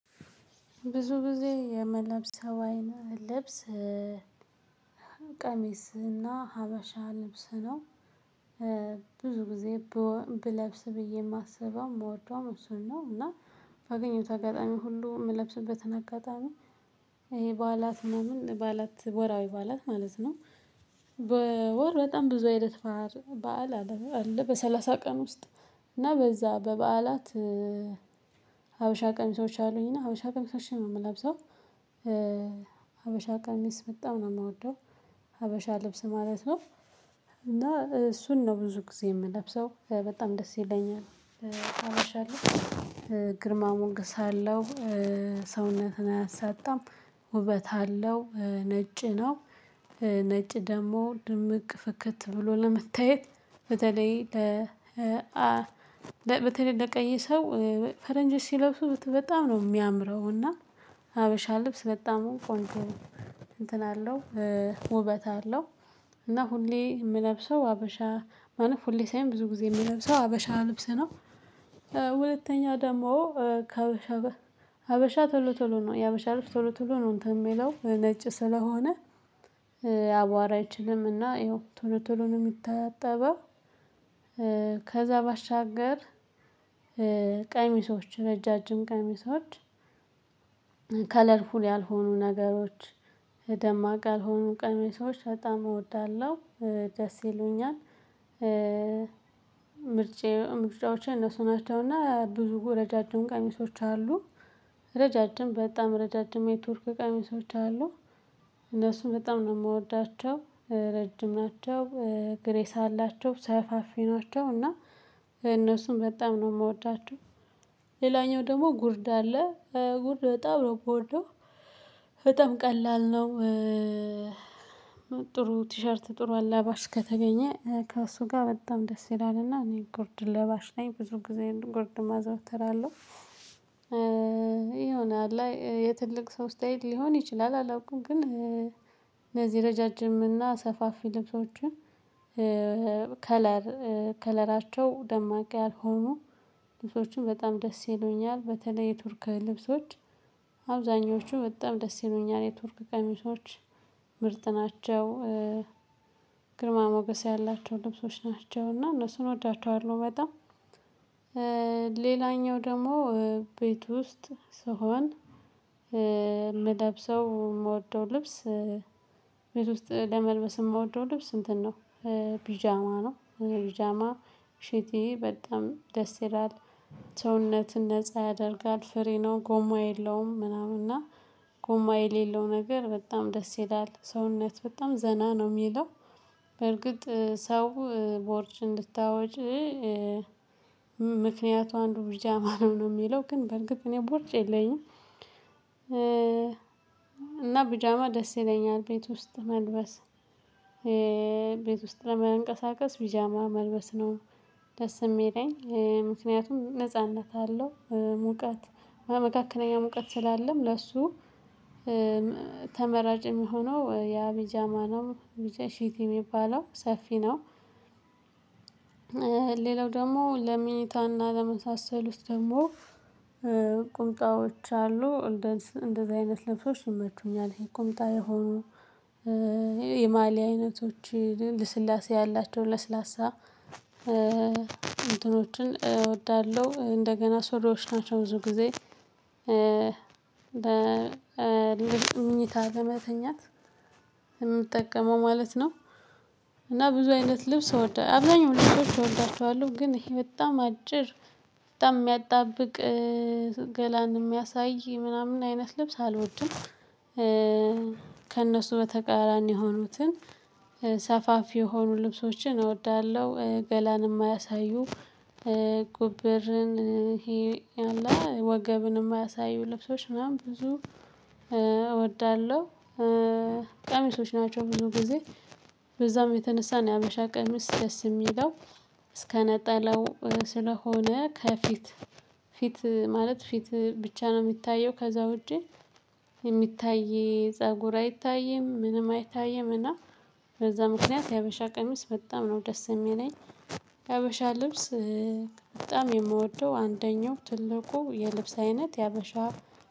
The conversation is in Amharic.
ብዙ ጊዜ የምለብሰው አይን ልብስ ቀሚስና ሀበሻ ልብስ ነው። ብዙ ጊዜ ብለብስ ብዬ ማስበው ምወደው እሱን ነው። እና ባገኘሁት አጋጣሚ ሁሉ ምለብስበትን አጋጣሚ። ይሄ በዓላት ምናምን በዓላት ወራዊ ባላት ማለት ነው። በወር በጣም ብዙ አይነት ባህር በዓል አለ በሰላሳ ቀን ውስጥ እና በዛ በበዓላት። ሀበሻ ቀሚሶች ሰዎች አሉኝ እና ሀበሻ ቀሚሶች ነው ምለብሰው። ሀበሻ ቀሚስ በጣም ነው ምወደው። ሀበሻ ልብስ ማለት ነው። እና እሱን ነው ብዙ ጊዜ ምለብሰው በጣም ደስ ይለኛል። ሀበሻ ልብስ ግርማ ሞገስ አለው። ሰውነትን አያሳጣም። ውበት አለው ነጭ ነው። ነጭ ደግሞ ድምቅ ፍክት ብሎ ለመታየት። በተለይ ለ በተለይ ለቀይ ሰው ፈረንጅ ሲለብሱ በጣም ነው ሚያምረው። እና ሀበሻ ልብስ በጣም ቆንጆ እንትን አለው ውበት አለው። እና ሁሌ ምለብሰው ሀበሻ ማለት ሁሌ ሳይሆን ብዙ ጊዜ የምለብሰው ሀበሻ ልብስ ነው። ሁለተኛ ደግሞ ከሀበሻ ሀበሻ ቶሎ ቶሎ ነው የሀበሻ ልጅ ቶሎ ቶሎ ነው እንትን ሚለው ነጭ ስለሆነ አዋራ አይችልምና ይኸው ቶሎ ቶሎ ነው ሚታጠበው። ከዛ ባሻገር ቀሚሶች ረዣዥም ቀሚሶች ከለርፉል ያልሆኑ ነገሮች ደማቅ ያልሆኑ ቀሚሶች በጣም እወዳለሁ። ደስ ይሉኛል። ምርጫዎቼ እነሱ ናቸውና ብዙ ረጃጅም ቀሚሶች አሉ። ረጃጅም በጣም ረጃጅም የቱርክ ቀሚሶች አሉ። እነሱም በጣም ነው ምወዳቸው ረጅም ናቸው ግሬስ አላቸው ሰፋፊ ናቸው እና እነሱም በጣም ነው ምወዳችው። ሌላኛው ደግሞ ጉርድ አለ። ጉርድ በጣም ነው ብወደው። በጣም ቀላል ነው። ጥሩ ቲሸርት ጥሩ አላባሽ ከተገኘ ከእሱ ጋር በጣም ደስ ይላልና እኔ ጉርድ ለባሽ ላይ ብዙ ጊዜ ጉርድ ማዘውተር አለው። የሆነ አለአ የትልቅ ሰው ስታይል ሊሆን ይችላል አላውቅም። ግን እነዚህ ረጃጅም እና ሰፋፊ ልብሶችን ከለር ከለራቸው ደማቂ ያልሆኑ ልብሶችን በጣም ደስ ይሉኛል በተለይ ቱርክ ልብሶች። አብዛኞቹ በጣም ደስ ይሉኛል የቱርክ ቀሚሶች ምርጥ ናቸው። ግርማ ሞገስ ያላቸው ልብሶች ናቸውና እነሱን እወዳቸዋለሁ በጣም። ሌላኛው ደግሞ ቤት ውስጥ ስሆን ምለብሰው ምወደው ልብስ ውስጥ ለመልበስ ምወደው ልብስ እንትን ነው። ፒጃማ ነው ፒጃማ ሽቲ በጣም ደስ ይላል። ሰውነትን ነፃ ያደርጋል ፍሪ ነው ጎማ የለውም ምናምን እና ጎማ የሌለው ነገር በጣም ደስ ይላል ሰውነት በጣም ዘና ነው ሚለው። በርግጥ ሰው ቦርጭ እንድታወጪ ምክንያቱ አንዱ ቢጃማ ነው ሚለው ግን በርግጥ እኔ ቦርጭ የለኝም። እና ቢጃማ ደስ ይለኛል ቤት ውስጥ መልበስ። ቤት ውስጥ ለመንቀሳቀስ ቢጃማ መልበስ ነው። ደስ የሚለኝ ምክንያቱም ነጻነት አለው ሙቀት መካከለኛ ሙቀት ስላለም ለሱ ተመራጭ የሚሆነው ያ ቢጃማ ነው። ሽቲ ሚባለው ሰፊ ነው። ሌላው ደግሞ ለምኝታና ለመሳሰሉት ውስጥ ደግሞ ቁምጣዎች አሉ። እንደዚህ አይነት ልብሶች ይመቹኛል ይሄ ቁጣ የሆኑ የማልያ አይነቶች ልስላሴ ያላቸው ለስላሳ እንትኖችን እወዳለሁ እንደገና ስሪዎች ናቸው ብዙ ጊዜ። ለምኝታ ለመተኛት የምጠቀመው ማለት ነው። እና ብዙ አይነት ልብስ እወዳለሁ አብዛኛው ልብሶች እወዳቸዋለሁ ግን ይሄ በጣም አጭር በጣም ሚያጣብቅ ገላን ሚያሳይ ምናምን አይነት ልብስ አልወድም። ከእነሱ በተቃራኒ የሆኑትን ሰፋፊ የሆኑ ልብሶችን እወዳለሁ ገላንም አያሳዩ። ጉብርን ወገብን የማያሳዩ ልብሶች ምናምን ብዙ እወዳለሁ። ቀሚሶች ናቸው ብዙ ጊዜ በዛም የተነሳን ሀበሻ ቀሚስ ደስ ሚለው። እስከነጠላው ስለሆነ ከፊት ፊት ማለት ፊት ብቻ ነው ሚታየው ከዛ ውጪ። የሚታይ ፀጉር አይታይም ምንም አይታይም እና በዛ ምክንያት የሀበሻ ቀሚስ በጣም ነው ደስ የሚለኝ። የሀበሻ ልብስ በጣም የምወደው አንደኛው ትልቁ የልብስ አይነት የሀበሻ